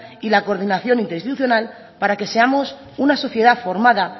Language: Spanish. y la coordinación institucional para que seamos una sociedad formada